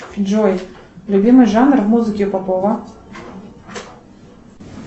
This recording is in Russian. джой любимый жанр музыки попова